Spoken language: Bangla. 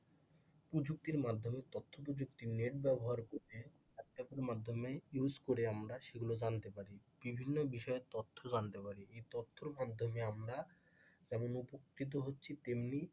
প্রযুক্তির মাধ্যমে তথ্য প্রযুক্তির নেট ব্যবহার করে হোয়াটস অ্যাপের মাধ্যমে সেগুলো ব্যবহার করে আমরা জানতে পারি বিভিন্ন বিষয়ে তথ্য জানতে পারি এই তথ্যের মাধ্যমে আমরা যেমন উপকৃত হচ্ছি তেমনি,